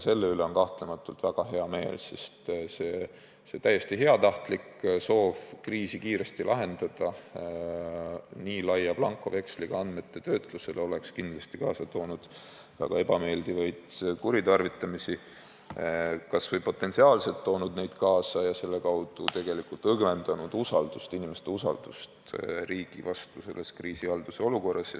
Selle üle on kahtlemata väga hea meel, sest see täiesti heatahtlik soov kriis kiiresti lahendada, andes selleks nii laia blankoveksli andmete töötlemiseks, oleks kindlasti kaasa toonud väga ebameeldivaid kuritarvitamisi – või oleks potentsiaalselt võinud neid kaasa tuua – ja selle kaudu õgvendanud inimeste usaldust riigi vastu praeguses kriisiolukorras.